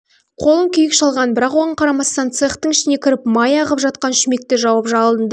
қолын күйік шалған бірақ оған қарамастан цехтың ішіне кіріп май ағып жатқан шүмекті жауып жалынды